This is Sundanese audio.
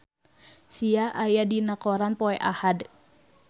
Sia aya dina koran poe Ahad